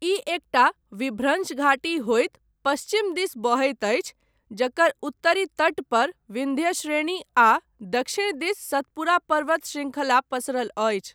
ई एकटा विभ्रंश घाटी होइत पश्चिम दिस बहैत अछि, जकर उत्तरी तट पर विन्ध्य श्रेणी आ दक्षिण दिस सतपुरा पर्वत शृंखला पसरल अछि।